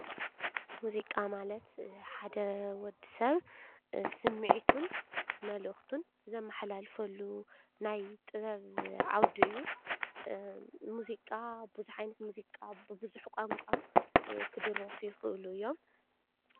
ሙዚቃ ማለት ሓደ ወዲ ሰብ ስሚዒቱን መልእክቱን ዘመሓላልፈሉ ናይ ጥበብ ዓውዲ እዩ፡፡ ሙዚቃ ቡዙሕ ዓይነት ብቡዙሕ ቋንቋ ክድረፉ ይክእሉ እዮም ፡፡